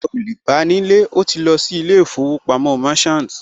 Ẹ ò lè bá nílé, ó ti lọ sí ilé ìfowópamọ́ Merchant